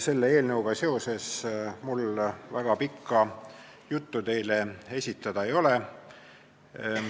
Selle eelnõuga seoses mul väga pikka juttu teile esitada ei ole.